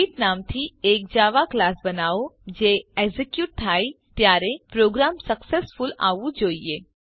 greet નામથી એક Java class બનાવો જે એક્ઝેક્યુટ થાય ત્યારે પ્રોગ્રામ સક્સેસફુલ આવવું જોઈએ